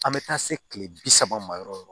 An bɛ taa se kile bi saba ma yɔrɔ o yɔrɔ